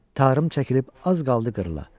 Tarım çəkilib az qaldı qırıla.